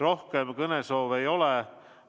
Rohkem kõnesoove ei ole.